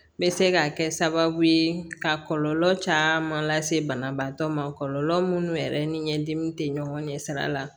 N bɛ se ka kɛ sababu ye ka kɔlɔlɔ caman lase banabaatɔ ma kɔlɔlɔ minnu yɛrɛ ni ɲɛdimi tɛ ɲɔgɔn ɲɛ sira la